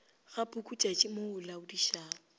ga pukutšatši mo o laodišago